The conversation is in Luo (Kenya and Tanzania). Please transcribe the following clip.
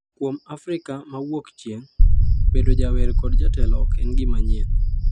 Kuom Afrika ma Wuokchieng’, bedo jawer kod jatelo ok en gima manyien.